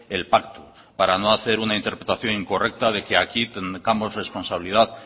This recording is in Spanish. el pacto para no hacer una interpretación incorrecta de que aquí tengamos responsabilidad